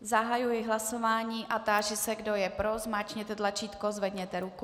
Zahajuji hlasování a táži se, kdo je pro, zmáčkněte tlačítko, zvedněte ruku.